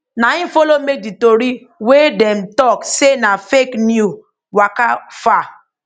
na im follow make di tori wey dem tok say na fake new waka far